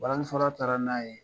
Balani fɔla taara n'a ye